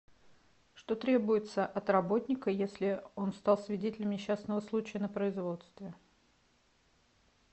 что требуется от работника если он стал свидетелем несчастного случая на производстве